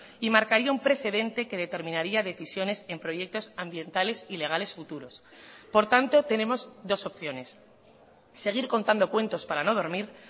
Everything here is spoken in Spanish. y marcaría un precedente que determinaría decisiones en proyectos ambientales ilegales futuros por tanto tenemos dos opciones seguir contando cuentos para no dormir